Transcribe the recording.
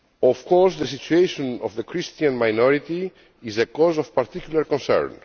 Of course the situation of the Christian minority is a cause of particular concern.